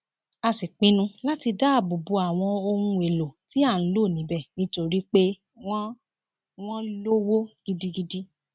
a sì pinnu láti dáàbò bo àwọn ohun èèlò tí à ń lò níbẹ nítorí pé wọn wọn lówó gidigidi